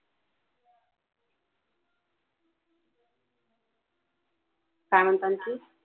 काय म्हणता आणखी